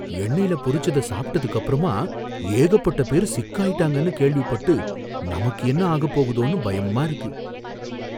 எண்ணயில பொரிச்சத சாப்டதுக்கப்பறமா ஏகப்பட்ட பேரு சிக்காயிட்டாங்கனு கேள்விப்பட்டு நமக்கு என்ன ஆகப்போகுதோனு பயமா இருக்கு.